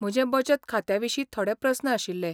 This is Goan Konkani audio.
म्हजे बचत खात्याविशीं थोडे प्रस्न आशिल्ले.